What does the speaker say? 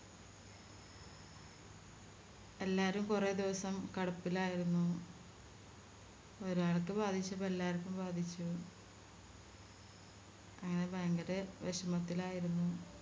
എല്ലാരും കൊറേ ദിവസം കടപ്പിലായിരുന്നു ഒരാൾക്ക് ബാധിച്ചപ്പോ എല്ലാർക്കും ബാധിച്ചു അങ്ങനെ ഭയങ്കരെ വിഷമത്തിലായിരുന്നു